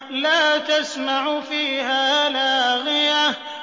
لَّا تَسْمَعُ فِيهَا لَاغِيَةً